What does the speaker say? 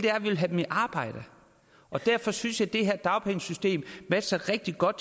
have dem i arbejde derfor synes jeg at det her dagpengesystem matcher rigtig godt